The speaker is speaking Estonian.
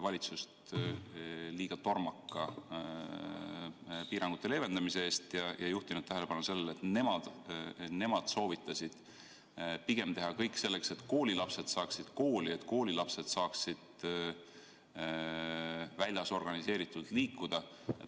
valitsust liiga tormaka piirangute leevendamise eest ja juhtinud tähelepanu sellele, et nemad soovitasid pigem teha kõik selleks, et koolilapsed saaksid kooli, et koolilapsed saaksid väljas organiseeritult tegutseda.